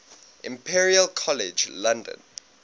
imperial college london